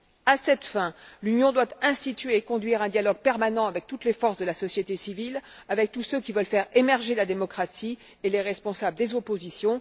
À cette fin, l'Union doit instituer et conduire un dialogue permanent avec toutes les forces de la société civile, avec tous ceux qui veulent faire émerger la démocratie et les responsables des oppositions.